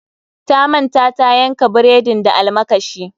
Ta manta tayanka bredin da almakashi.